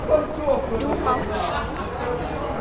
Nú mátt þú.